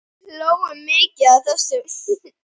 Við hlógum mikið að þessu.